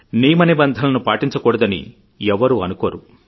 నియమనిబంధనలను పాటించకూడదని ఎవ్వరూ అనుకోరు